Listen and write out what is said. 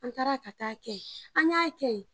An taara ka t'a kɛ yen, an y'a kɛ.